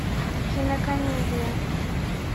кинокомедия